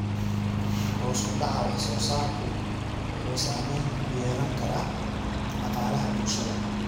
Hoos u dhaca wax soo saarku wuxuu saamayn ku yeelan karaa dhaqaalaha bulshada.